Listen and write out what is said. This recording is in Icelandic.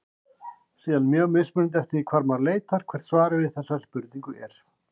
Síðan er mjög mismunandi eftir því hvar maður leitar hvert svarið við þessari spurningu er.